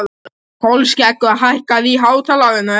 Kolskeggur, hækkaðu í hátalaranum.